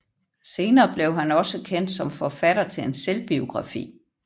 Senere blev han også kendt som forfatter til en selvbiografi